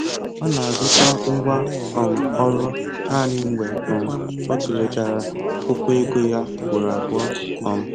Ọ na-azụta ngwá um ọrụ naanị mgbe um ọ tụlechara akwụkwọ ego ya ụgboro abụọ um